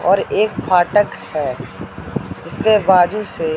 और एक फाटक है जिसके बाजू से--